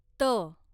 त